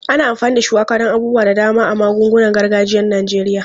Ana amfani da shuwaka don abubuwa da dama a magungunan gargajiyan Najeriya.